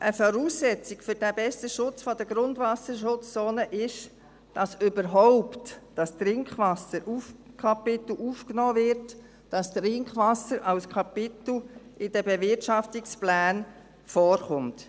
Eine Voraussetzung für diesen besseren Schutz der Grundwasserschutzzonen ist, dass das Trinkwasserkapitel überhaupt aufgenommen wird: dass das Trinkwasser als Kapitel in den Bewirtschaftungsplänen vorkommt.